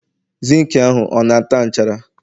zinc ahụ, ọ nata nchara